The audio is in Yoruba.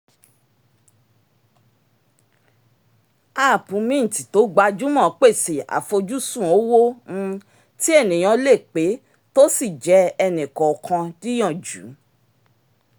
app mint tó gbajúmọ̀ pèsè afojúsùn ówó um tí ènìyán lè pé tí ó sì jẹ ẹnìkànkan níyànjú